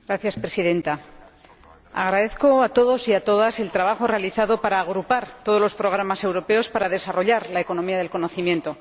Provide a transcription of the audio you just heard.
Señora Presidenta, agradezco a todos y a todas el trabajo realizado para agrupar todos los programas europeos para desarrollar la economía del conocimiento.